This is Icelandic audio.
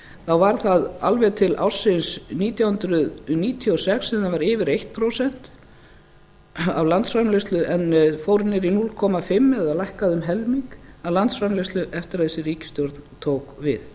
þá var það alveg til ársins nítján hundruð níutíu og sex sem það var yfir eitt prósent af landsframleiðslu en fór niður í hálft eða lækkaði um helming af landsframleiðslu eftir að þessi ríkisstjórn tók við